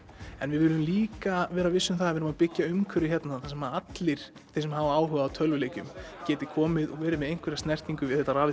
en við viljum líka vera viss um það að við að byggja umhverfi hérna þar sem allir þeir sem hafa áhuga á tölvuleikjum geti komið og verið með einhverja snertingu við þetta